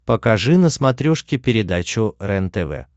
покажи на смотрешке передачу рентв